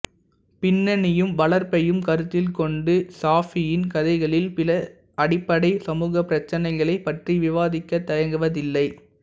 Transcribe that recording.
பின்னணியையும் வளர்ப்பையும் கருத்தில் கொண்டு சாஃபியின் கதைகளில் சில அடிப்படை சமூகப் பிரச்சினைகளைப் பற்றி விவாதிக்க தயங்குவதில்லை